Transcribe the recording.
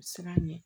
U bɛ siran ɲɛ